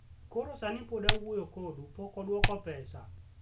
Koro sani pod awuoyo kodu, pok odwoko pesa,